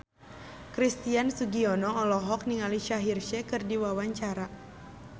Christian Sugiono olohok ningali Shaheer Sheikh keur diwawancara